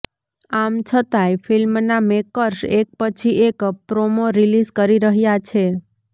આમ છતાંય ફિલ્મના મેકર્સ એક પછી એક પ્રોમો રીલીઝ કરી રહ્યા છે